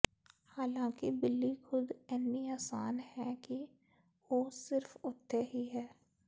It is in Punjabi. ਹਾਲਾਂਕਿ ਬਿਲੀ ਖੁਦ ਇੰਨੀ ਅਸਾਨ ਹੈ ਕਿ ਉਹ ਸਿਰਫ ਉੱਥੇ ਹੀ ਹੈ